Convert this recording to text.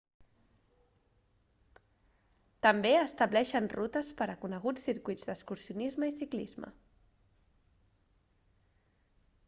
també estableixen rutes per a coneguts circuits d'excursionisme i ciclisme